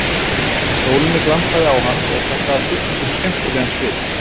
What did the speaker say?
Í sólinni glampaði á hann og það gaf byggingum skemmtilegan svip.